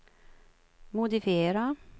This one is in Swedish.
modifiera